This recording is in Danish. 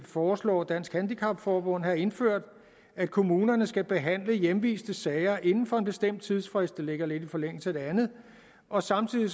foreslår dansk handicap forbund have indført at kommunerne skal behandle hjemviste sager inden for en bestemt tidsfrist det ligger lidt i forlængelse af det andet og samtidig